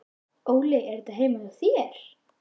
Óli: Er þetta heima hjá þér?